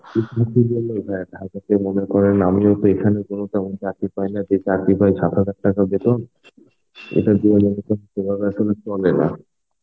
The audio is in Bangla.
ঢাকাতে মনে করেন আমিও তো এখানে কোনো তেমন চাকরি পাই না. যে চাকরি পাই সাত হাজার টাকা বেতন. এটা দুহাজার বেতন সেভাবে এখনও চলে না.